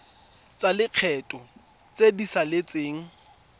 tsa lekgetho tse di saletseng